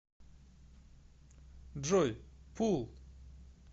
джой пул